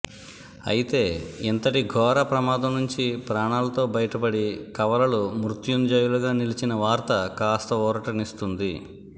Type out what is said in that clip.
అయితే ఇంతటి ఘోర ప్రమాదంనుంచి ప్రాణాలతో బయటపడి కవలలు మృత్యుంజయులుగా నిలిచిన వార్త కాస్త ఊరటనిస్తోంది